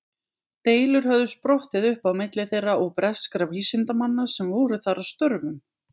Deilur höfðu sprottið upp á milli þeirra og breskra vísindamanna sem voru þar að störfum.